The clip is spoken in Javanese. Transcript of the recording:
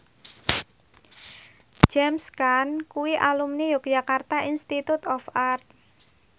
James Caan kuwi alumni Yogyakarta Institute of Art